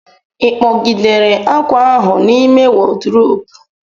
Ị kpọgidere akwa ahụ n'ime wodrobu?